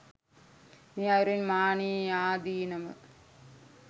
මේ අයුරින් මානයේ ආදීනව